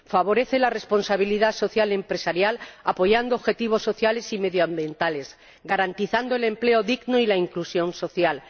Favorece la responsabilidad social empresarial apoyando objetivos sociales y medioambientales, garantizando el empleo digno y la inclusión social